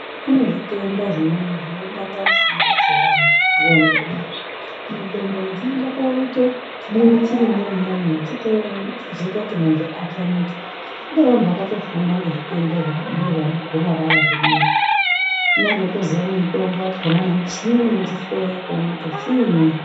Kune zbitenda zvimweni, zvinobata pfungwa dzevanhu ,ndxondo kudai. Mundxondo umu chinoite chibundu chirimomwo umwomwo chotozoita kuti muntu atamike .Kune vantu vakatofunda ngezvaana gomarara zvona izvi. Unenga eitoziya nemutombo wakhona, nemuchini unochihloya kuti chiini.